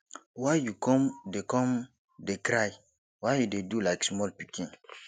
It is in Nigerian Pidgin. why you come dey come dey cry why you dey do like small pikin